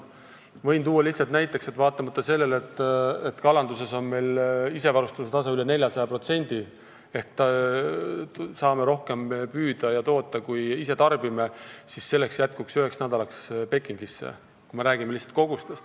Kui rääkida kogustest, võin lihtsalt näiteks tuua, et vaatamata sellele, et meil on kalanduses isevarustatuse tase üle 400% ehk saame rohkem püüda ja toota, kui ise tarbime, jätkuks sellest Pekingile üheks nädalaks.